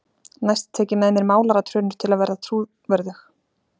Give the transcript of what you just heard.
Næst tek ég með mér málaratrönur til að vera trúverðug.